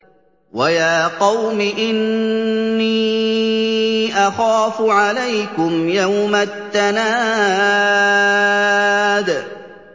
وَيَا قَوْمِ إِنِّي أَخَافُ عَلَيْكُمْ يَوْمَ التَّنَادِ